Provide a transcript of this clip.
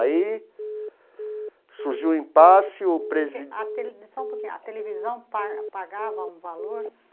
Aí surgiu o impasse, o presi... A tele, só um pouquinho, a televisão pa pagava um valor?